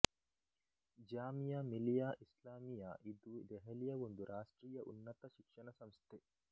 ಜಾಮಿಯ ಮಿಲಿಯ ಇಸ್ಲಾಮಿಯ ಇದು ದೆಹಲಿಯ ಒಂದು ರಾಷ್ಟ್ರೀಯ ಉನ್ನತ ಶಿಕ್ಷಣ ಸಂಸ್ಥೆ